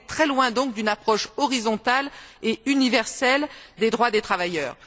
On est très loin donc d'une approche horizontale et universelle des droits des travailleurs.